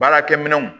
Baarakɛ minɛnw